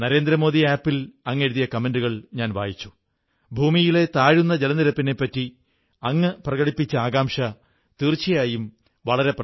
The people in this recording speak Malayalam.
എന്നാൽ ഇപ്രാവശ്യം നിങ്ങൾ വല്ലതുമൊക്കെ വാങ്ങാൻ പോകുമ്പോൾ വോക്കൽ ഫോർ ലോക്കൽ നാടിനുവേണ്ടിയുള്ള നമ്മുടെ നിശ്ചയം തീർച്ചയായും ഓർമ്മ വയ്ക്കണം